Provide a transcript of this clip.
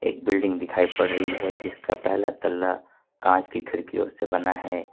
एक बिल्डिंग दिखाई पड़ रही है जिसका पहला तल्ला कांच की खिड़कियों से बना है।